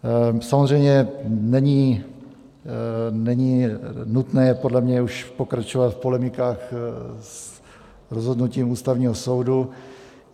Samozřejmě, není nutné podle mě už pokračovat v polemikách s rozhodnutím Ústavního soudu.